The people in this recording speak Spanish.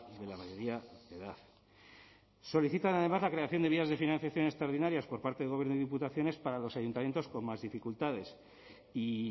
de la mayoría de edad solicitan además de vías de financiación extraordinarias por parte del gobierno y diputaciones para los ayuntamientos con más dificultades y